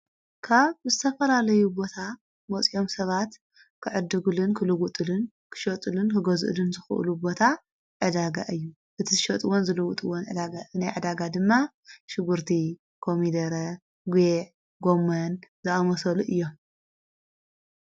ካብ ዝተፈላለዩ ቦታ መጺኦም ሰባት ክዕድጉልን ክልዉጥልን ክሸጡልን ክጐዝእሉን ዝኽእሉ ቦታ ዕዳጋ እዩ እቲ ሸጥዎን ዘልዉጥዎን ዕዳጋ እነይ ዕዳጋ ድማ ሽጉርቲ ኮሚደረ ጕዕ ጎምን ዝኣመሶሉ እዮም።